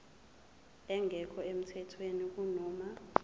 engekho emthethweni kunoma